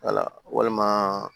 walima